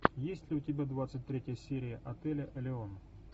есть ли у тебя двадцать третья серия отеля элеон